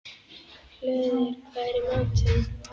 Hlöður, hvað er í matinn?